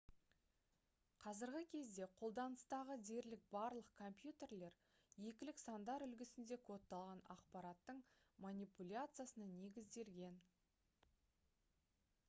қазіргі кезде қолданыстағы дерлік барлық компьютерлер екілік сандар үлгісінде кодталған ақпараттың манипуляциясына негізделген